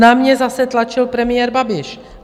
Na mě zase tlačil premiér Babiš.